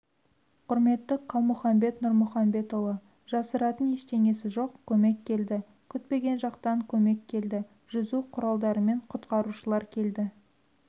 құрметті қалмұханбет нұрмұханбетұлы жасыратың ештеңесі жоқ көмек келді күтпеген жақтан көмек келді жүзу құралдарымен құтқарушылар келді